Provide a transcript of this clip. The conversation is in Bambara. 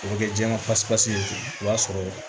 O bɛ kɛ jɛman pasipasi o b'a sɔrɔ